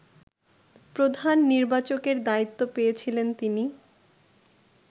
প্রধান নির্বাচকের দায়িত্ব পেয়েছিলেন তিনি